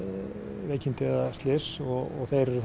veikindi eða slys þeir